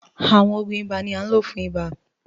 Àwọn òògùn ibà ni à nlo fún ibà